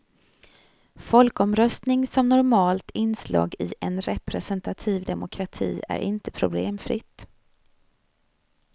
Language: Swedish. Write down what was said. Folkomröstning som normalt inslag i en representativ demokrati är inte problemfritt.